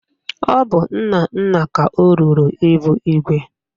Ọ bụ Nnanna ka o ruru ịbụ igwe?